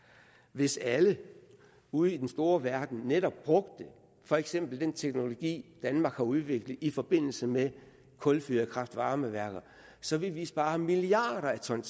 hvis alle ude i den store verden netop brugte for eksempel den teknologi danmark har udviklet i forbindelse med kulfyrede kraft varme værker så ville vi spare milliarder af ton